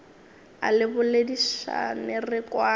a re boledišane re kwane